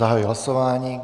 Zahajuji hlasování.